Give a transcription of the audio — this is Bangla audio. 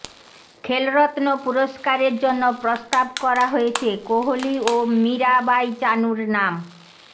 খেলরত্ন পুরস্কারের জন্য প্রস্তাব করা হয়েছে কোহলি ও মীরাবাঈ চানুর নাম